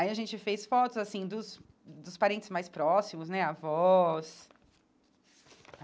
Aí gente fez fotos assim dos dos parentes mais próximos né, avós.